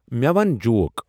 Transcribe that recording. مٖےٚ وَن جوک